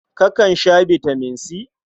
Kakan sha bitaman C?